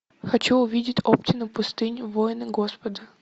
хочу увидеть оптина пустынь воины господа